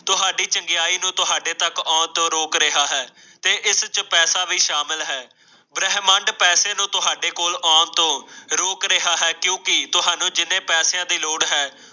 ਤੁਹਾਡੀ ਚੰਗਿਆਈ ਨੂੰ ਤੁਹਾਡੇ ਤੱਕ ਆਉਣ ਤੋਂ ਰੋਕ ਰਿਹਾ ਹੈ ਇਸ ਤੋਂ ਪੈਸੇ ਵੀ ਸ਼ਾਮਲ ਹੈ ਬ੍ਰਹਮੰਡ ਪੈਸੇ ਨੂੰ ਤੁਹਾਡੇ ਕੋਲ ਆਉਣ ਤੋਂ ਰੋਕ ਰਿਹਾ ਹੈ ਕਿਉਂਕਿ ਤੁਹਾਨੂੰ ਜਿੰਨੇ ਪੈਸਿਆਂ ਦੀ ਲੋੜ ਹੈ